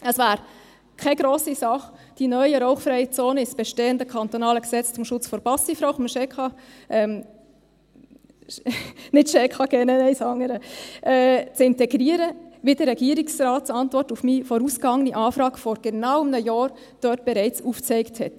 Es wäre keine grosse Sache, die neuen rauchfreien Zonen ins bestehende kantonale Gesetz zum Schutz vor Passivrauchen – nicht das SchKG, das andere – zu integrieren, wie die Regierungsantwort auf meine vorausgegangene Anfrage vor genau einem Jahr bereits aufzeigte.